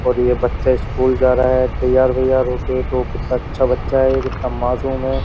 और ये बच्चा स्कूल जा रहा है तैयार वैयार होके तो कितना अच्छा बच्चा है ये कितना मासूम है।